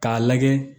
K'a lajɛ